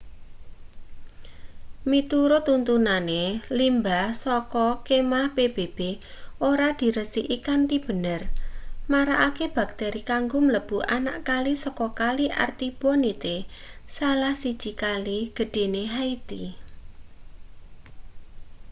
miturut tuntutane limbah saka kemah pbb ora diresiki kanthi bener marakake bakteri kanggo mlebu anak kali saka kali artibonite salah siji kale gedhene haiti